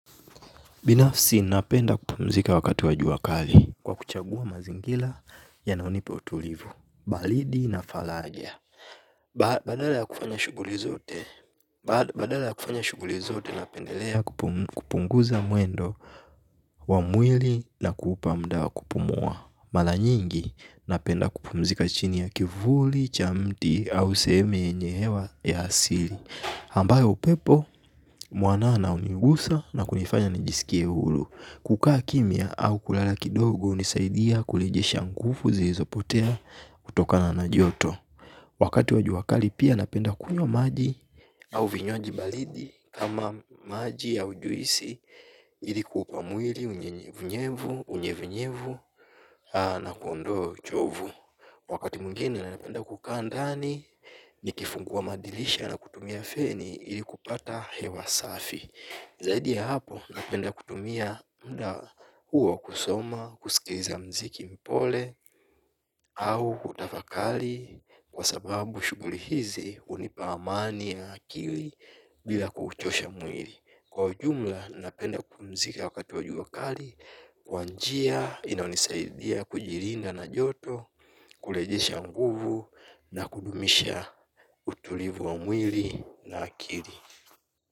Binafsi napenda kupumzika wakati wa jua kali kwa kuchagua mazingila yanayonipa utulivu, balidi na falaja. Badala ya kufanya shughuli zote, badala ya kufanya shughuli zote napendelea kupunguza mwendo wa mwili na kuupa mda wa kupumua. Mala nyingi napenda kupumzika chini ya kivuli, cha mti, au sehemu yenye hewa ya asili. Ambayo upepo mwanana unigusa na kunifanya nijisikie huru. Kukaa kimya au kulala kidogo unisaidia kulejesha ngufu zilizopotea kutokana na joto. Wakati wa jua kali pia napenda kunywa maji au vinywaji balidi ama maji au juisi ili kuupa mwili unyevunyevu unyevunyevu na kundoa uchovu. Wakati mwingine ninapenda kukaa ndani nikifungua madilisha na kutumia feni ili kupata hewa safi. Zaidia ya hapo napenda kutumia mda huo kusoma, kusikiliza mziki mpole au kutafakali kwa sababu shughuli hizi unipa amani ya akili bila kuuchosha mwiri. Kwa ujumla napenda kupumzika wakati wa jua kari, kwa njia inayonisaidia kujirinda na joto, kulejesha nguvu na kudumisha utulivu wa mwili na akiri.